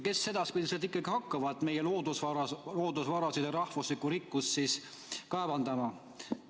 Kes edaspidi siis ikkagi hakkab meie loodusvarasid ja rahvuslikku rikkust kaevandama?